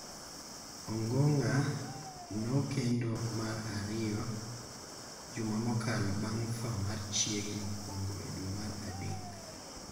Ongong�a nokendo mar ariyo juma mokalo bang� tho mar chiege mokwongo e dwe mar adek.